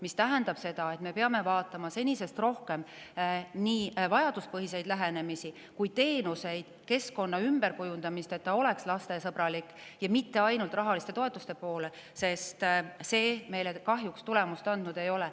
See tähendab seda, et me peame senisest rohkem nii vajaduspõhiselt lähenema kui ka üle vaatama teenuseid, ümber kujundama keskkonda, et see oleks lastesõbralik, ja mitte vaatama ainult rahaliste toetuste poole, sest need meile kahjuks tulemust andnud ei ole.